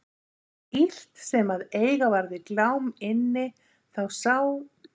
En svo illt sem að eiga var við Glám inni þá sá